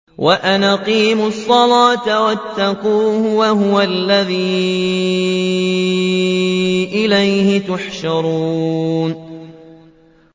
وَأَنْ أَقِيمُوا الصَّلَاةَ وَاتَّقُوهُ ۚ وَهُوَ الَّذِي إِلَيْهِ تُحْشَرُونَ